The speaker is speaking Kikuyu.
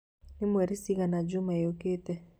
nĩ mweri ciigana juuma yũkĩte